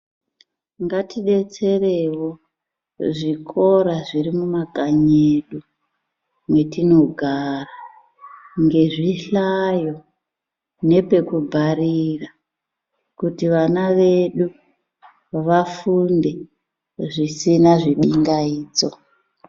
Ngatidetserewo zvikora zviri mumakanyi edu, mwetinogara ngezvihlayo nepekubharira, kuti vana vedu vafunde zvisina zvibingaidzo.